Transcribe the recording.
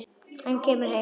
Hann kemur heim.